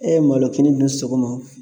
Ɛ malɔkini dun sɔgɔma o